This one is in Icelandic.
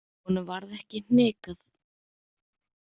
Honum varð ekki hnikað.